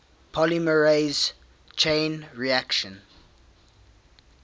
polymerase chain reaction